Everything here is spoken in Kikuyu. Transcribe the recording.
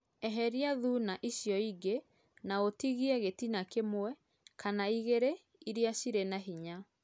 eherĩa thũna ĩcĩo ĩngĩ na ũtĩgĩe gĩtĩna kĩmwe kana ĩgĩrĩ ĩrĩa cĩrĩ na hĩnya